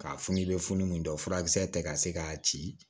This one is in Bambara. K'a funu i bɛ funu min dɔn furakisɛ tɛ ka se k'a ci